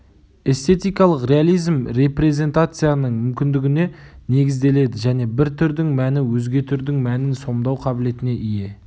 эстетикалық реализм репрезентацияның мүмкіндігіне негізделеді және бір түрдің мәні өзге түрдің мәнін сомдау қабілетіне ие